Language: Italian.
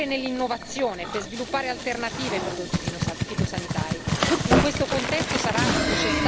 È essenziale, inoltre, investire nell'innovazione per sviluppare alternative ai prodotti fitosanitari.